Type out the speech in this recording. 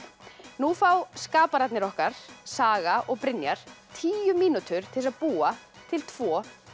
nú fá skapararnir okkar Saga og Brynjar tíu mínútur til þess að búa til tvo